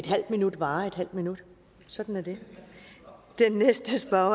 halv minut varer en halv minut sådan er det den næste spørger